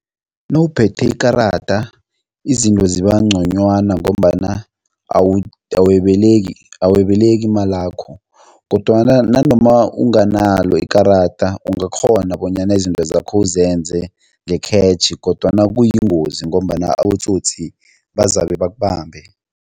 Nawuphethe ikarada izinto zibangconywana ngombana awebeleki imalakho kodwana nanoma unganalo ikarada, ungakghona bonyana izinto zakho uzenze nge-cash kodwana kuyingozi ngombana abotsotsi bazabe bakubambe.